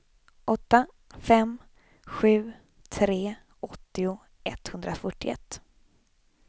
åtta fem sju tre åttio etthundrafyrtioett